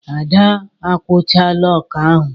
Ada a kụchaala ọkà ahụ.